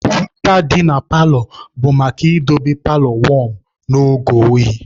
Heater dị na paalọ bụ maka idobe paalọ wọm n'oge oyi.